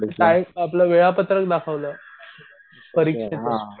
Time वेळापत्रक दाखवलं परीक्षेचं.